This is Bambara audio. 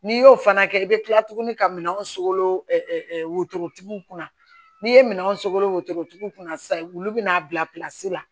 N'i y'o fana kɛ i bɛ kila tuguni ka minɛn sogo wotorotigiw kunna n'i ye minɛnw sogolo wotoro tigiw kunna sisan olu bɛna bilasira